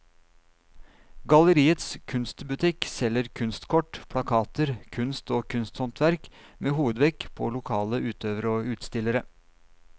Galleriets kunstbutikk selger kunstkort, plakater, kunst og kunsthåndverk med hovedvekt på lokale utøvere og utstillere.